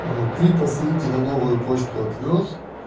вот три посылки на новую почту отвёз